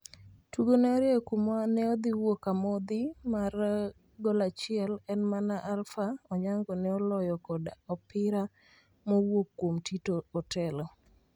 Tugo ne orieyokuma ne odhi wuok amodhi mar golachiel en mana Alpha Onyango ne oloyo kod opira mowuok kuom Tito Otelo